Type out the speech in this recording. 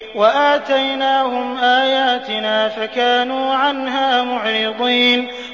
وَآتَيْنَاهُمْ آيَاتِنَا فَكَانُوا عَنْهَا مُعْرِضِينَ